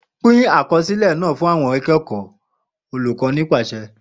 Pin akọsilẹ naa fun awọn akẹkọ Olukọni paṣẹ